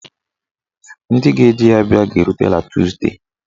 Ndị ga-eji ya bịa ga-erutela tuzdee.